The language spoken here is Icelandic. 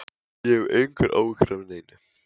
Ég hef engar áhyggjur af neinu.